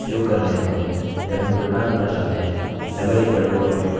यदि आप सही पाथ के लिए जा रहे हैं आप दो कर्ली कोष्ठकों का उपयोग कर सकते हैं